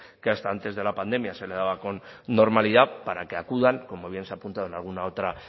que hasta antes de la pandemia se le daba con normalidad para que acudan como bien se ha apuntado en alguna otra